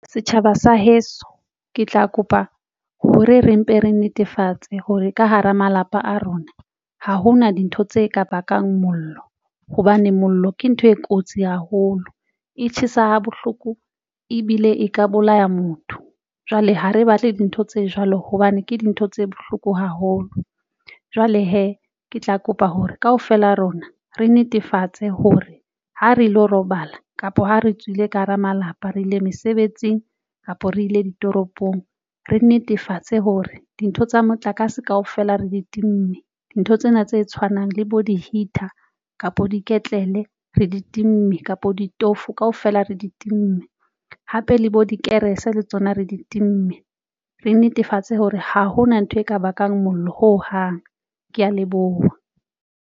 Setjhaba sa heso ke tla kopa hore re mpe re netefatse hore ka hara malapa a rona ha hona dintho tse ka bakang mollo hobane mollo ke ntho e kotsi haholo, e tjhesa ha bohloko ebile e ka bolaya motho. Jwale ha re batle dintho tse jwalo hobane ke dintho tse bohloko haholo. Jwale hee ke tla kopa hore kaofela rona re netefatse hore ha re lo robala kapo ha re tswile ka hara malapa re ile mesebetsing kapo re ile ditoropong, re netefatse hore dintho tsa motlakase kaofela re di timme. Dintho tsena tse tshwanang le bo di-heater, kapo diketlele re di time kapa bo ditofo kaofela re di time, hape le bo dikerese le tsona re di time. Re netefatse hore ha hona ntho e ka bakang mollo hohang. Ke ya leboha.